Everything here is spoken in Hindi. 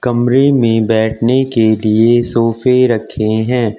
कमरे में बैठने के लिए सोफे रखे हैं।